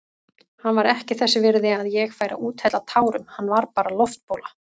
Hann var ekki þess virði að ég færi að úthella tárum, hann var bara loftbóla.